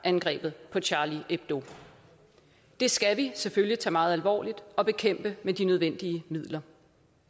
angrebet på charlie hebdo det skal vi selvfølgelig tage meget alvorligt og bekæmpe med de nødvendige midler